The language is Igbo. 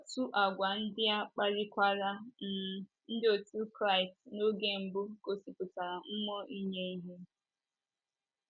Otu àgwà ndị a kpalikwaran um ndị otu Kraịst n'oge mbụ igosipụta mmụọ inye ihe.